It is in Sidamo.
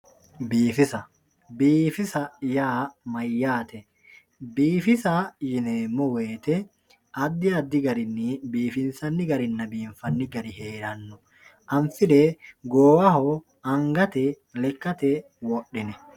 Biifissa, biifissa yaa mayyate yinuummoro biifissa addi addi garinni biifinsanni garinna biinfanni gari heerano anfire goowaho lekkate wodhinanni